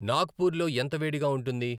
నాగ్పూర్లో ఎంత వేడిగా వుంటుంది